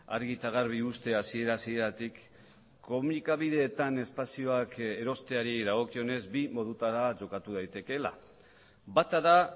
argi eta garbi uztea hasiera hasieratik komunikabideetan espazioak erosteari dagokionez bi modutara jokatu daitekeela bata da